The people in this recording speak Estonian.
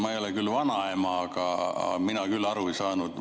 Ma ei ole küll vanaema, aga mina küll aru ei saanud.